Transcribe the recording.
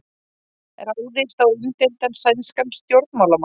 Ráðist á umdeildan sænskan stjórnmálamann